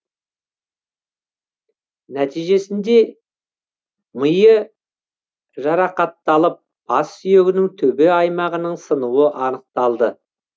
нәтижесінде миы жарақатталып бас сүйегінің төбе аймағының сынуы анықталды